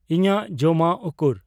ᱤᱧᱟᱹᱜ ᱡᱚᱢᱟᱜ ᱩᱠᱩᱨ